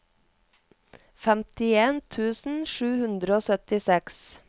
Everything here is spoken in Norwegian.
femtien tusen sju hundre og syttiseks